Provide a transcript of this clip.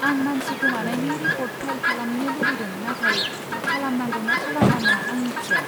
आं मानसि गोमानायनि रिपर्ट फाइल खालामनो लुबैदों, नाथाय खालामनांगौ ना खालामनाङा आं मिथिया।